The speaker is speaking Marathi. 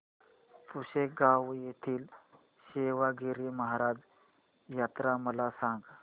पुसेगांव येथील सेवागीरी महाराज यात्रा मला सांग